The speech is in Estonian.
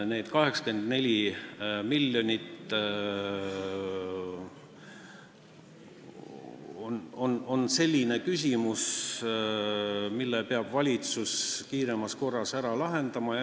Need 84 miljonit on küsimus, mille valitsus peab kiiremas korras ära lahendama.